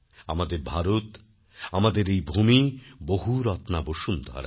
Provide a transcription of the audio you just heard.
আমাদের ভারত আমাদের এই ভুমি বহুরত্না বসুন্ধরা